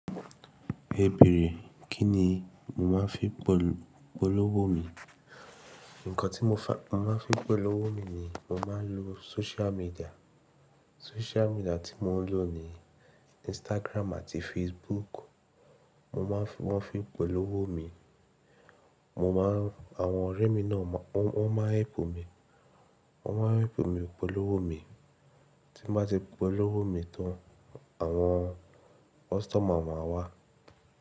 Ẹ bèèrè, kín ni mo máa ń fi polowo mi? Ǹkan tí mo máa ń fi polowo mi ni mo máa ń lo social media. Social media tí mo ń lò ni Instagram àti Facebook. Mo máa ń fi, wọ́n fi polowo mi. Mo má ń, àwọn ọ̀rẹ́ mi náà wọ́n máa ń help mi. Wọ́n máa ń épò mi polowo mi. Tí m bá ti polowo mi tán, àwọn customer máa wá.